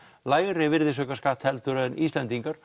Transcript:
lægra virðisaukaskatt heldur en Íslendingar